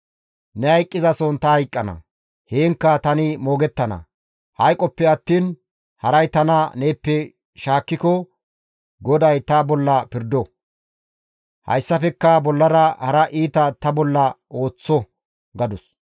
Ne hayqqizason ta hayqqana; heenkka tani moogettana; hayqoppe attiin haray tana neeppe shaakkiko GODAY ta bolla pirdo; hessafekka bollara hara iita izi ta bolla ooththo» gadus.